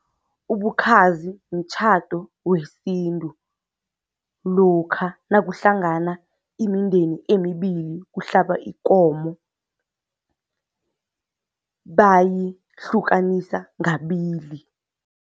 Ubukhazi mtjhado wesintu, lokha nakuhlangana imindeni emibili kuhlaba ikomo bayihlukanisa ngabili.